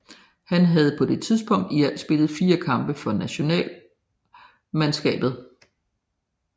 Han havde på dette tidspunkt i alt spillet fire kampe for nationalmandskabet